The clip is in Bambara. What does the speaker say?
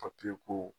ko